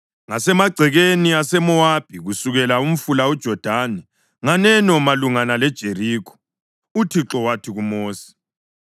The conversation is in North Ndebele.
Ngasemagcekeni aseMowabi kusekele umfula uJodani nganeno malungana leJerikho, uThixo wathi kuMosi,